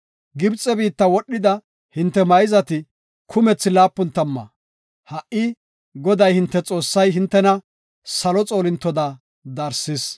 Gibxe biitta wodhida hinte mayzati kumethi laapun tamma; ha77i Goday, hinte Xoossay hintena salo xoolintotada darsis.